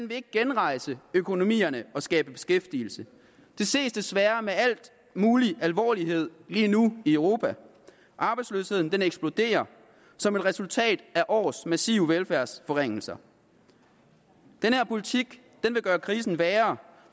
vil genrejse økonomierne og skabe beskæftigelse det ses desværre med al mulig alvorlighed lige nu i europa arbejdsløsheden eksploderer som et resultat af års massive velfærdsforringelser den her politik vil gøre krisen værre